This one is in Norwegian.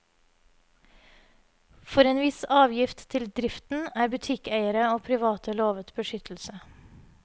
For en viss avgift til driften er butikkeiere og private lovet beskyttelse.